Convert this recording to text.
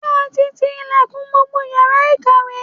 Ṣé ẹ ti ti ilẹ̀kùn gbogbo yàrá ìkàwé?